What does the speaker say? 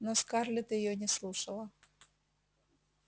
но скарлетт её не слушала